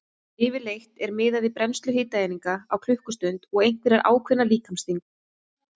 Yfirleitt er miðað við brennslu hitaeininga á klukkustund og einhverja ákveðna líkamsþyngd.